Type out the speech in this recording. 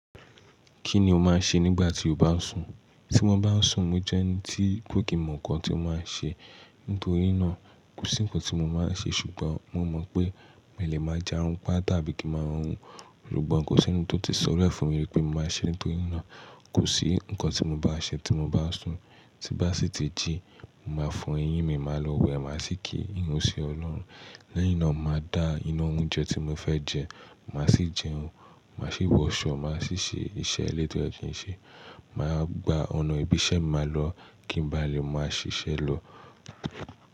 Kí ni o máa ń ṣe nígbà tí o bá ń sùn? Tí mo bá ń sùn, mo jẹ́ ẹni tí kò kí mọ nǹkan tí mo máa ń ṣe nítorí náà, kò sí ǹkan tí mo máa ń ṣe ṣùgbọ́n mo mọ̀ pé mi lè máa jarun pá tàbí kí máa hórun. Ṣùgbọ́n kò sí ẹni tó ti sọlẹ̀ fún mi wípé mo máa ṣe nítorí náà, kò sí nǹkan tí mo bá ṣe tí mo bá sùn. Ti bá sì ti jí, máa fọ eyín mi, màá lọ wẹ̀, màá sì kí ìrun sí Ọlọ́run. Lẹ́yìn náà, màá da iná oúnjẹ tí mo fẹ́ jẹ, màá sì jẹun, màá sì wọṣọ, màá sì ṣe iṣẹ́ ilé tí ó ti ṣe, màá gba ọ̀nà ibi iṣẹ́ ma lọ, kí n bá lè máa ṣiṣẹ́ lọ.